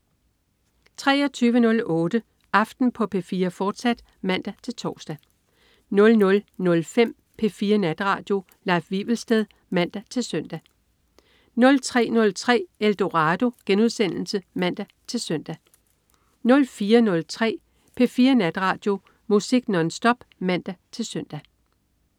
23.08 Aften på P4, fortsat (man-tors) 00.05 P4 Natradio. Leif Wivelsted (man-søn) 03.03 Eldorado* (man-søn) 04.03 P4 Natradio. Musik nonstop (man-søn)